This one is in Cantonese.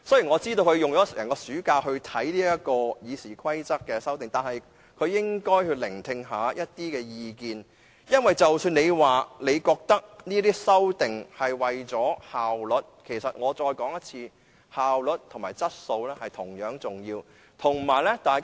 我知道他花了整個暑假閱讀《議事規則》的修訂建議，但他應該聆聽意見，因為即使他認為作出這些修訂是為了提升效率，其實——我再說一次——效率和質素同樣重要。